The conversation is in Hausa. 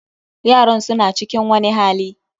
Yaran su na cikin wani hali.